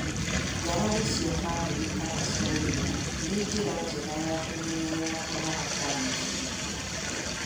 ngarari cia bamĩrĩ kana cia wĩra, nĩ njĩra njega ya kũmenyerera kũnoga kwa meciria.